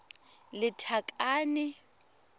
lethakane